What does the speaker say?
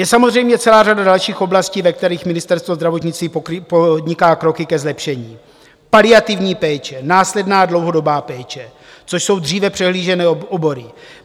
Je samozřejmě celá řada dalších oblastí, ve kterých Ministerstvo zdravotnictví podniká kroky ke zlepšení - paliativní péče, následná dlouhodobá péče, což jsou dříve přehlížené obory.